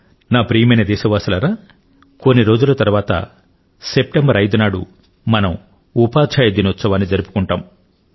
నా ప్రియమైన దేశ వాసులారా కొన్ని రోజుల తరువాత సెప్టెంబర్ 5 వ తేదీ నాడు మనం ఉపాధ్యాయ దినోత్సవాన్ని జరుపుకుంటాం